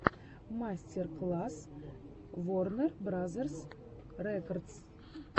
мастер класс ворнер бразерс рекордс